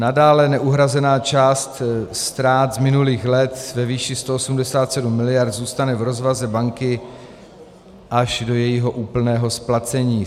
Nadále neuhrazená část ztrát z minulých let ve výši 187 miliard zůstane v rozvaze banky až do jejího úplného splacení.